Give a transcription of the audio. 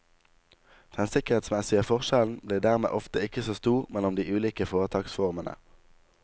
Den sikkerhetsmessige forskjellen blir dermed ofte ikke så stor mellom de ulike foretaksformene.